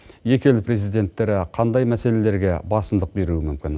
екі ел президенттері қандай мәселелерге басымдық беруі мүмкін